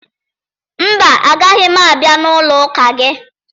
Mba, agaghị m abịa n'ụlọụka gị